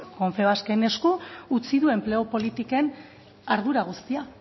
esku confebasken esku utzi du enplegu politiken ardura guztia